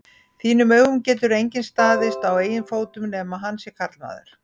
þínum augum getur enginn staðið á eigin fótum nema hann sé karlmaður.